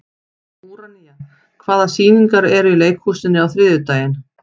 Úranía, hvaða sýningar eru í leikhúsinu á þriðjudaginn?